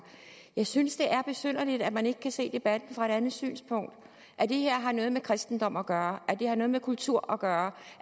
jeg synes det er besynderligt at man ikke kan se debatten fra et andet synspunkt at det her har noget med kristendom at gøre at det har noget med kultur at gøre